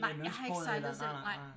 Nej jeg har ikke sejlet selv nej